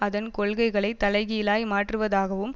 அதன் கொள்கைகளை தலைகீழாய் மாற்றுவதாகவும்